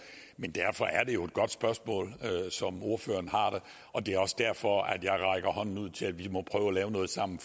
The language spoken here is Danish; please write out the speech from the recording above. men derfor er det jo et godt spørgsmål som ordføreren har der og det er også derfor jeg rækker hånden ud til at vi må prøve at lave noget sammen